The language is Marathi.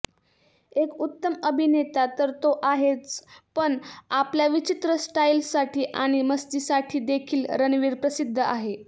एक उत्तम अभिनेता तर तो आहेच पण आपल्या विचित्र स्टाईलसाठी आणि मस्तीसाठीदेखील रणवीर प्रसिद्ध आहे